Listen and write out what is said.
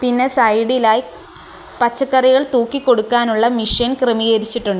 ഇതിന് സൈഡ് ആയി പച്ചക്കറികൾ തൂക്കി കൊടുക്കാനുള്ള മിഷൻ ക്രമീകരിച്ചിട്ടുണ്ട്.